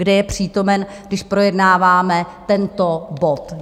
Kde je přítomen, když projednáváme tento bod?